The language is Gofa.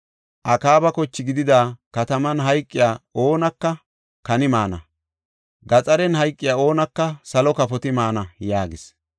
Akaaba koche gididi kataman hayqiya oonaka kani maana; gaxariyan hayqiya oonaka salo kafoti maana” yaagis.